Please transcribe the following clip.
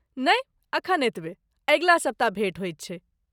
नहि, एखन एतबे, अगिला सप्ताह भेट होइत छैक।